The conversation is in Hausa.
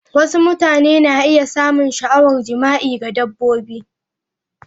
Wasu mutane na iya samun sha'awar jima'i ga dabbobi.